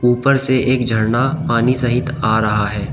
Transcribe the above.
ऊपर से एक झरना पानी सहित आ रहा है।